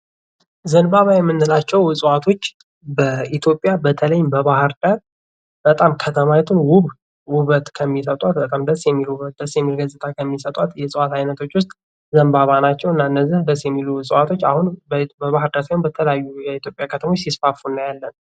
ዘምባባ የምንላቸው እፅዋቶች በኢትዮጵያ በተለይም በባህር ዳር በጣም ከተማይቱን ውብ ውብት ከሚሰጧት በጣም ደስ የሚል ውብት ደስ የሚል ገፅታ ከሚሰጧት የእፅዋት አይነቶች ውስጥ ዘምባባ ናቸው ። እና እነዚህ ደስ የሚሉ እፅዋቶች አሁን በባህር ዳር ሳይሆን በተለያዩ የኢትዮጵያ ከተሞች ሲስፋፉ እናያለን ።